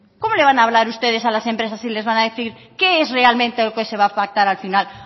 cómo le van a hablar ustedes a las empresas y les van a decir qué es realmente lo que se va a pactar al final